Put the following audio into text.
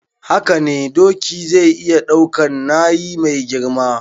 Hakane doki zai iya daukan nayi mai girma